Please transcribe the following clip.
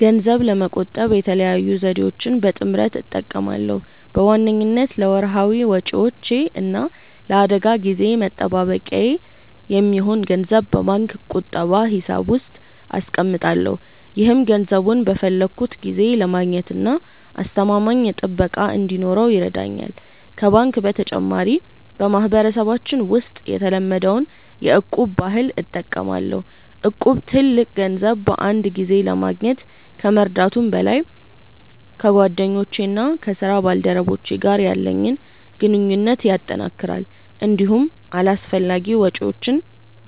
ገንዘብ ለመቆጠብ የተለያዩ ዘዴዎችን በጥምረት እጠቀማለሁ። በዋነኝነት ለወርሃዊ ወጪዎቼ እና ለአደጋ ጊዜ መጠባበቂያ የሚሆን ገንዘብ በባንክ ቁጠባ ሂሳብ ውስጥ አስቀምጣለሁ። ይህም ገንዘቡን በፈለግኩት ጊዜ ለማግኘትና አስተማማኝ ጥበቃ እንዲኖረው ይረዳኛል። ከባንክ በተጨማሪ፣ በማህበረሰባችን ውስጥ የተለመደውን የ'እቁብ' ባህል እጠቀማለሁ። እቁብ ትልቅ ገንዘብ በአንድ ጊዜ ለማግኘት ከመርዳቱም በላይ፣ ከጓደኞቼና ከስራ ባልደረቦቼ ጋር ያለኝን ግንኙነት ያጠናክራል። እንዲሁም አላስፈላጊ ወጪዎችን